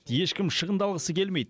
ешкім шығындалғысы келмейді